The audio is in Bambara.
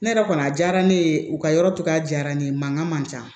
Ne yɛrɛ kɔni a diyara ne ye u ka yɔrɔ cogoya diyara ne ye mankan man can